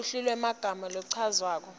luhlu lwemagama lachazwako